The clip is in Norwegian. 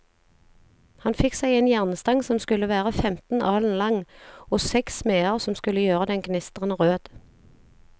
Han fikk seg en jernstang som skulle være femten alen lang, og seks smeder som skulle gjøre den gnistrende rød.